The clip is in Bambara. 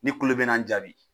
N'i kulo bɛ n na n jaabi.